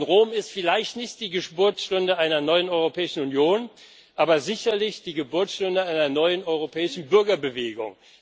Rom ist vielleicht nicht die Geburtsstunde einer neuen Europäischen Union, aber sicherlich die Geburtsstunde einer neuen europäischen Bürgerbewegung.